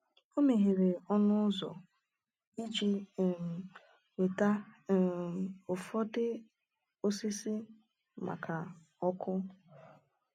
O meghere ọnụ ụzọ iji um weta um ụfọdụ osisi maka ọkụ.